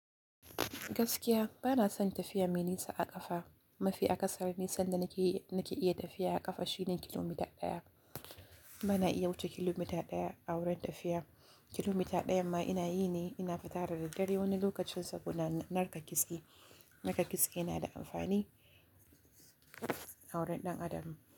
Gaskiya bana son tafiya mai nisa a ƙafa. Mafi akasari sanda nake, nake iya tafiya a ƙafa shine kilomita ɗaya. Bana iya wuce kilomita ɗaya a wurin tafiya. Kilomita ɗayan ma ina yi ne, ina fita da daddare wani lokacin saboda narka kitse. Narka kitse yana da amfani a wurin ɗan adam.